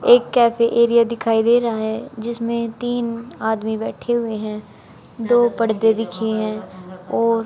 एक cafe area दिखाई दे रहा है जिसमें तीन आदमी बैठे हुए हैं दो पर्दे दिखे हैं और--